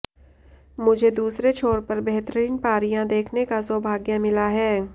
मुझे दूसरे छोर पर बेहतरीन पारियां देखने का सौभाग्य मिला है